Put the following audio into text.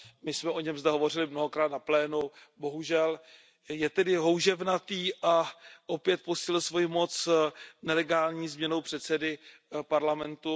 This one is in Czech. My jsme o něm zde hovořili mnohokrát na plénu, bohužel je tedy houževnatý a opět posílil svoji moc nelegální změnou předsedy parlamentu.